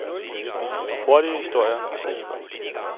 Et par hurtige historier og så hjemad.